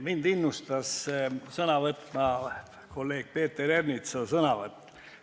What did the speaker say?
Mind innustas sõna võtma kolleeg Peeter Ernitsa sõnavõtt.